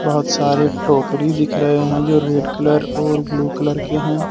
बहुत सारे टोकरी दिख रहे हैं जो रेड कलर और ब्लू कलर के हैं।